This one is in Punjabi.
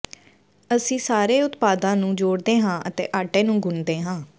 ਅਸੀਂ ਸਾਰੇ ਉਤਪਾਦਾਂ ਨੂੰ ਜੋੜਦੇ ਹਾਂ ਅਤੇ ਆਟੇ ਨੂੰ ਗੁਨ੍ਹਦੇ ਹਾਂ